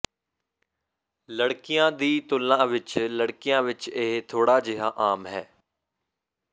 ਲੜਕੀਆਂ ਦੀ ਤੁਲਨਾ ਵਿਚ ਲੜਕੀਆਂ ਵਿਚ ਇਹ ਥੋੜ੍ਹਾ ਜਿਹਾ ਆਮ ਹੈ